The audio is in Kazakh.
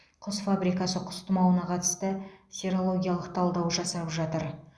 құс фабрикасы кұс тұмауына қатысты серологиялық талдау жасап жатыр